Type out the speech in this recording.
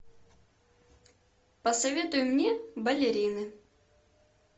посоветуй мне балерины